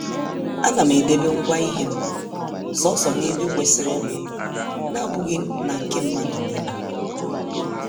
A nam edebe ngwa ihem, soso n' ebe kwesịrịnụ n' abụghị na nke mmadụ niile.